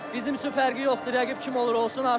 Bizim üçün fərqi yoxdur rəqib kim olur olsun.